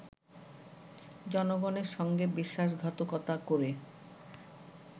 জনগণের সঙ্গে বিশ্বাসঘাতকতা করে